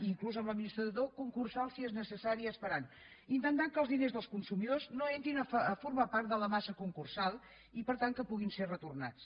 inclús amb l’administrador concursal si és necessari es faran intentant que els diners dels consumidors no entrin a formar part de la massa concursal i per tant que puguin ser retornats